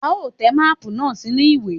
A ó te máàpù náà sínú ìwé.